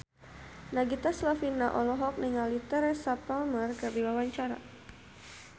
Nagita Slavina olohok ningali Teresa Palmer keur diwawancara